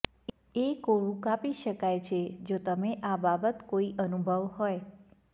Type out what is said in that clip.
એ કોળું કાપી શકાય છે જો તમે આ બાબત કોઈ અનુભવ હોય